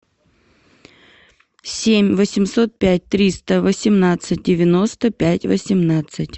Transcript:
семь восемьсот пять триста восемнадцать девяносто пять восемнадцать